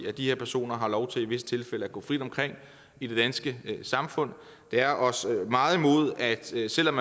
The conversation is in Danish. at de her personer har lov til i visse tilfælde at gå frit omkring i det danske samfund det er os meget imod at selv selv om